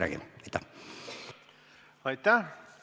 Aitäh!